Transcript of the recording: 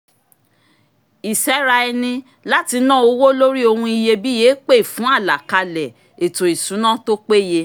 ìséra ẹni láti na owó lori ohun iyebíye pè fún àlàkalẹ ètò ìṣúná tó péye